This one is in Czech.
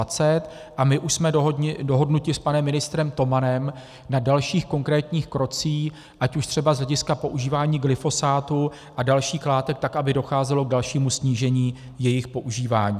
A my už jsme dohodnuti s panem ministrem Tomanem na dalších konkrétních krocích, ať už třeba z hlediska používání glyfosátu a dalších látek, tak aby docházelo k dalšímu snížení jejich používání.